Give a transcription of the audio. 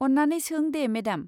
अन्नानै सों दे मेडाम।